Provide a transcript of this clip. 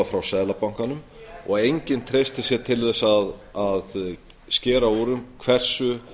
frá seðlabankanum og enginn treystir sér til að skera úr um hversu